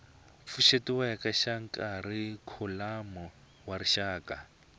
pfuxetiweke xa kharikhulamu xa rixaka